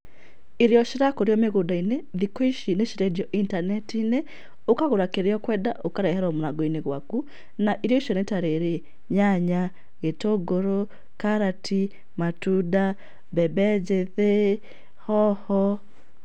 Irio cirakũrio mĩgũnda-inĩ thikũ ici nĩ irendio intaneti-inĩ, ũkagũra kĩrĩa ũkwenda ũkareherwo mũrango-inĩ gwaku, na irio icio nĩ ta rĩrĩ; nyanya, gĩtũngũrũ, karati, matunda, mbembe njĩthĩ, hoho.